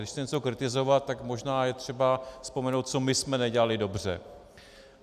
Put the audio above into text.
Když chci něco kritizovat, tak možná je třeba vzpomenout, co my jsme nedělali dobře.